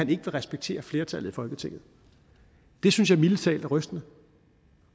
vil respektere flertallet i folketinget det synes jeg mildest talt er rystende og